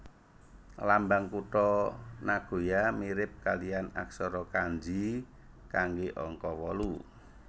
Lambang kutha Nagoya mirip kalihan aksara kanji kanggé angka wolu